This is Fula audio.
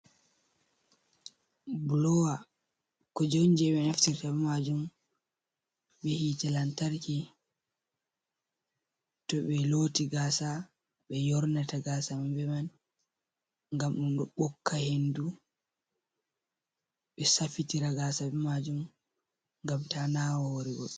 Blower kuje on je ɓe naftirta be majum be hitte lantarki, to ɓe loti gasa ɓe yornata gasa maɓɓe be man ngam ɗum ɓokka hendu, ɓe safitira gasa be majum, ngam ta nawa hore goɗɗo.